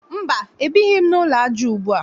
Mba, ebighị m n'ụlọ aja ugbua